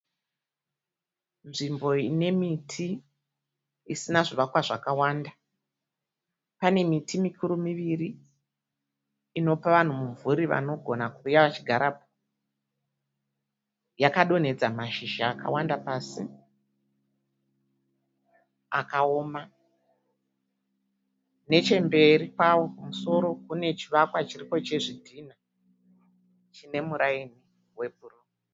Nzvimbo ine miti isina zvivakwa zvakawanda, pane miti mikuru miviri inopavanhu mumvuri vanogona kuuya vachigarapo yakadonhedza mashizha akawanda pasi akaoma. Nechemberi kwawo kumusoro kune chivakwa chiripo chezvidhina chine muraini webhuru.